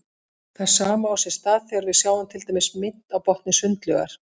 Það sama á sér stað þegar við sjáum til dæmis mynt á botni sundlaugar.